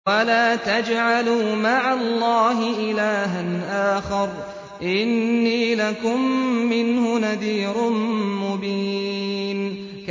وَلَا تَجْعَلُوا مَعَ اللَّهِ إِلَٰهًا آخَرَ ۖ إِنِّي لَكُم مِّنْهُ نَذِيرٌ مُّبِينٌ